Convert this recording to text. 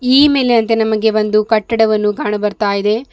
ಈ ಮೇಲಿನಂತೆ ನಮಗೆ ಒಂದು ಕಟ್ಟಡವನ್ನು ಕಾಣು ಬರ್ತಾ ಇದೆ.